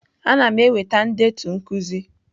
Ana m eweta ndetu nkuzi.